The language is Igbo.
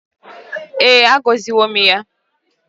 E, a goziwo m ya.